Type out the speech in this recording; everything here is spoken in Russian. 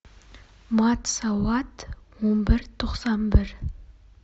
мат салат умберто самбер